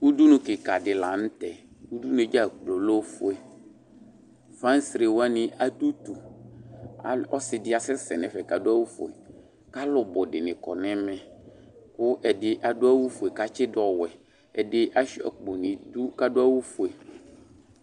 Udunu kɩka dɩ la nʋ tɛ. Udunu yɛ dza kplo lɛ ofue. Fansrɛ wanɩ adʋ utu. Al ɔsɩ dɩ asɛsɛ nʋ ɛfɛ kʋ adʋ awʋfue kʋ alʋ bʋ dɩnɩbkɔ nʋ ɛmɛ kʋ ɛdɩ adʋ awʋfue kʋ atsɩdʋ ɔwɛ. Ɛdɩ asʋɩa akpo nʋ idu kʋ adʋ awʋfue.